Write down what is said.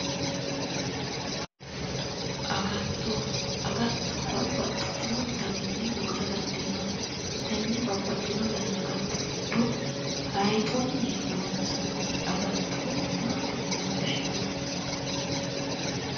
Agatto agatto babbaxxino daninni loosa dandiinanni tenne babbaxxino dani agatto giddo hayxunni loonsanni agatto maati yine woshshinanni